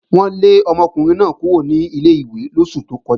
Wọ́n lé ọmọkùnrin náà kúrò ní ilé-ìwé lóṣù tó kọjá